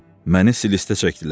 Məni silistə çəkdilər.